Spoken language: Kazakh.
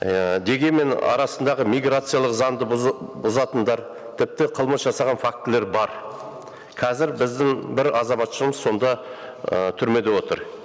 ііі дегенмен арасындағы миграциялық заңды бұзатындар тіпті қылмыс жасаған фактілер бар қазір біздің бір азаматшамыз сонда ы түрмеде отыр